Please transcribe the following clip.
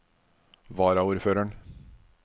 varaordføreren